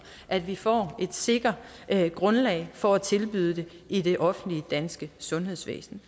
at vi får et sikkert grundlag for at tilbyde den i det offentlige danske sundhedsvæsen